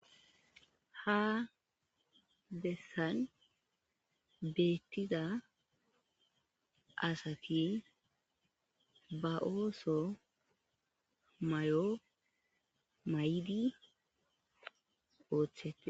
ha bessan beettiza asati ba ooso mayo maydi ooththetes